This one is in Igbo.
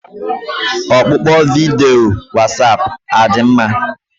Ọkpụkpọ vidiyo Wasapụ adị mma?